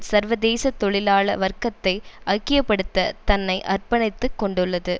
சர்வதேச தொழிலாள வர்க்கத்தை ஐக்கிய படுத்த தன்னை அர்ப்பணித்து கொண்டுள்ளது